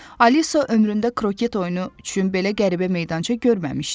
Alisa ömründə kroket oyunu üçün belə qəribə meydança görməmişdi.